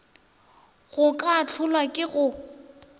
go ka hlolwa ke go